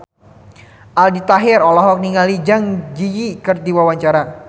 Aldi Taher olohok ningali Zang Zi Yi keur diwawancara